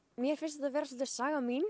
mér finnst þetta vera sagan mín